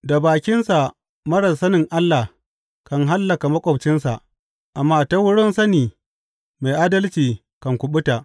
Da bakinsa marar sanin Allah kan hallaka maƙwabcinsa, amma ta wurin sani mai adalci kan kuɓuta.